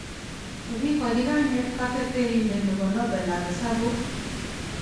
Kogigachi kainet katerterindet nebo Nobel ab Hesabuk